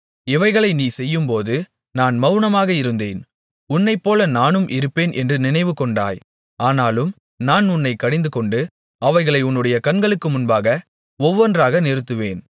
இவைகளை நீ செய்யும்போது நான் மவுனமாக இருந்தேன் உன்னைப்போல நானும் இருப்பேன் என்று நினைவு கொண்டாய் ஆனாலும் நான் உன்னைக் கடிந்துகொண்டு அவைகளை உன்னுடைய கண்களுக்கு முன்பாக ஒவ்வொன்றாக நிறுத்துவேன்